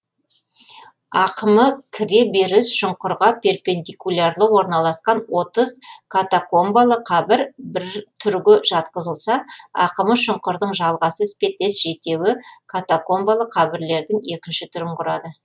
ақымы кіре беріс шұңқырға перпендикулярлы орналасқан отыз катакомбалы қабір бір түрге жатқызылса ақымы шұңқырдың жалғасы іспеттес жетеуі катакомбалы қабірлердің екінші түрін құрады